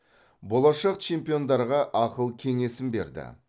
болашақ чемпиондарға ақыл кеңесін берді